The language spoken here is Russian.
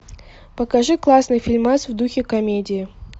покажи классный фильмас в духе комедии